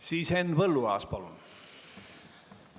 Siis Henn Põlluaas, palun!